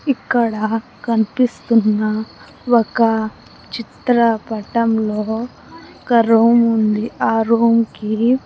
ఇక్కడ కనిపిస్తున్న ఒక చిత్రపటంలో ఒక రూమ్ ఉంది ఆ రూమ్ కి.